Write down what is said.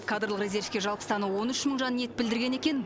кадрлық резервке жалпы саны он үш мың жан ниет білдірген екен